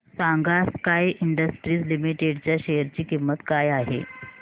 सांगा Sky Industries Limited च्या share ची किंमत काय आहे